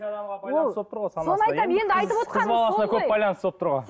болып тұр ғой көп байланысты болып тұр ғой